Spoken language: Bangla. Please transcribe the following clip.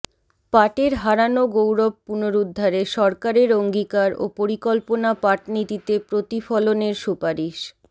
পাটের হারানো গৌরব পুনরুদ্ধারে সরকারের অঙ্গীকার ও পরিকল্পনা পাটনীতিতে প্রতিফলনের সুপারিশ